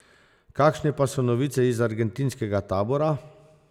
Kakšne pa so novice iz argentinskega tabora?